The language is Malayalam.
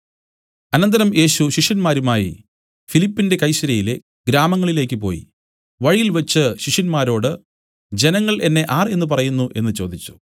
അനന്തരം യേശു ശിഷ്യന്മാരുമായി ഫിലിപ്പിന്റെ കൈസര്യയിലെ ഗ്രാമങ്ങളിലേക്ക് പോയി വഴിയിൽവെച്ചു ശിഷ്യന്മാരോട് ജനങ്ങൾ എന്നെ ആർ എന്നു പറയുന്നു എന്നു ചോദിച്ചു